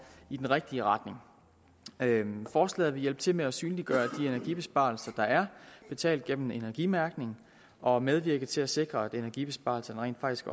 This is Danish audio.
i den rigtige retning forslaget vil hjælpe til med at synliggøre de energibesparelser der er betalt gennem energimærkning og medvirke til at sikre at energibesparelserne rent faktisk